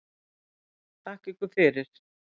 Þakka ykkur fyrir